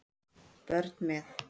Börn með